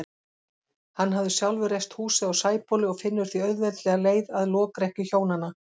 Hann hafði sjálfur reist húsið á Sæbóli og finnur því auðveldlega leið að lokrekkju hjónanna.